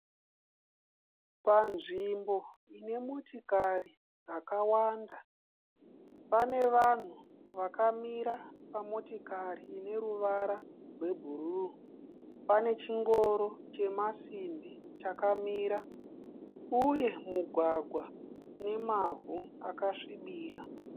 Panzvimbo ine motikari dzakawanda. Pane vanhu vakamira pamotikari ine ruvara rwebhuruu. Pane chingoro chemasimbi chakamira uye mugwagwa une mavhu akasvibira.